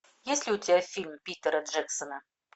есть ли у тебя фильм питера джексона